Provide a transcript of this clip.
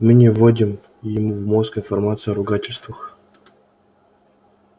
мы не водим ему в мозг информацию о ругательствах